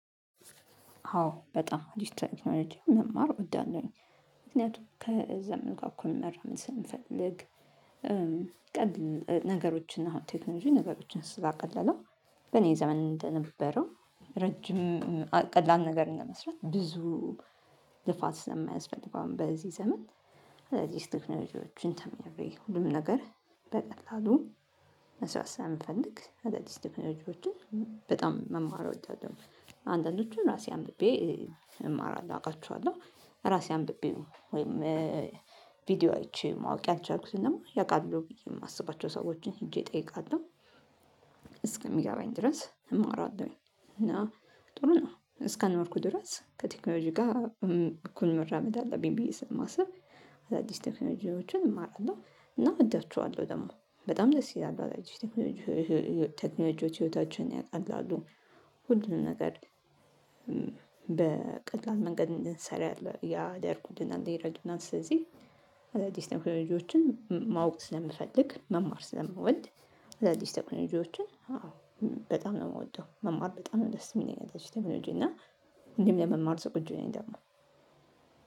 አዎ በጣም ዲጅታል ቴክኖሎጂ መማር እወዳለሁኝ። ምክንያቱም ከዘመኑ ጋር እኩል መራመድ ስለምፈልግ ነገሮችን አሁን ቴክኖሎጂ ነገሮችን ስታቀልለው በኔ ዘመን እንደነበረው ረጅም ቀላል ነገር እንደመስራት ብዙ ልፋት ስለማያስፈልገው አሁን በዚህ ዘመን አዳዲስ ቴክኖሎጂዎችን ተምሬ ሁሉም ነገር በቀጥላሉ መስራት ስለምፈልግ አዳዲስ ቴክኖሎጅዎችን በጣም መማር እወዳለሁኝ። አንዳንዶቹን ራሴ አምብቤ እማራለሁ አውቃችኋለሁ። ራሴ አንብቤው ወይም ቪዲዮ አየቸ ማወቅ ያልቻልኩትን ደግሞ ያውቃል ብዬ የማስባቸው ሰዎችን ሄጄ እጠይቃለሁ። እስከሚገባኝ ድረስ እማራለሁኝ። እና ጥሩ ነው እስካልኖርኩ ድረስ ከቴክኖሎጂ ጋር እኩል መራመድ አለብኝ ብዬ ስለማስብ አዳዲስ ቴክኖሎጂዎችን እማራለሁ እና እወዳቸዋለሁ ደግሞ በጣም ደስ ይላሉ አዳዲስ ቴክኖሎጂዎች ቴክኖሎጂዎች ህይወታችንን ያቃላሉ ሁሉንም ነገር በቀላት መንገድ እንድንሰራ ያደርጉልናል፣ ይረዱናል ስለዚህ አዳዲስ ቴክኖሎጂዎችን ማወቅ ስለምፈልግ መማር ስለምወድ አዳዲስ ቴክኖሎጂዎችን አዎ በጣም ነው የምወደው መማር በጣም ነው ደስ የሚለኝ። አዳዲስ ቴክኖሎጂ እና እንዲሁም ለመማር ዝግጁ ነኝ ደግሞ